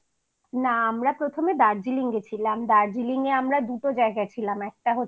না আমরা প্রথমে দার্জিলিং গেছিলাম দার্জিলিং